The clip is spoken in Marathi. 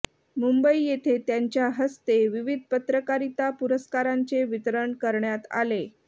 मुंबई येथे त्यांच्या हस्ते विविध पत्रकारिता पुरस्कारांचे वितरण करण्यात आले